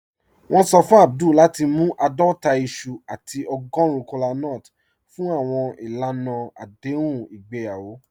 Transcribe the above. Wọn sọ fún Abdul lati mú aadọta iṣu àti ọ̀gọ́run kọlánúts fún awọn ilànà adéhùn igbeyawo."